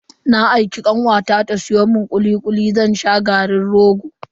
Na aiki kanwata ta siyo mun kuli kuli zan sha garin rogo.